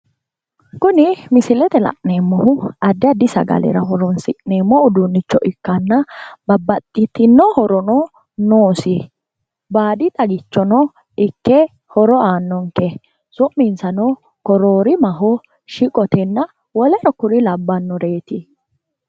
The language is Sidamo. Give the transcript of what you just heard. Kuni misilete la'neemmohu addi addi daddalu sagle ikkittanna su'minsano shiqqote cororimaho barbarete woleno kore labbanoreti